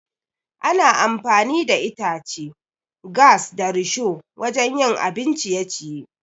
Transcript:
Ana amfani da itace, gas, da risho wajan yin abin ciye-ciye